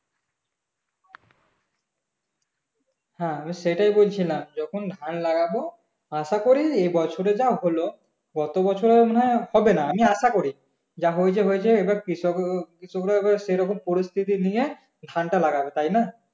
হ্যাঁ আমি সেটাই বলছিলাম যখন ধান লাগাবো আশাকরি এবছরে যা হলো গত বছরে মনে হয় হবে না আমি আশা করি যা হয়েছে হয়েছে এবার কৃষক কৃষকরা এবার সেইরকম পরিস্থিতি নিয়ে ধানটা লাগবে তাইনা